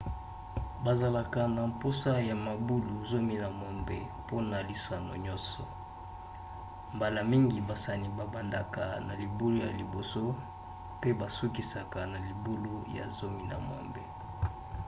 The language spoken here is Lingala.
bazalaka na mposa ya mabulu zomi na mwambe mpona lisano nyonso mbala mingi basani babandaka na libulu ya liboso pe basukisaka na libublu ya zomi na mwambe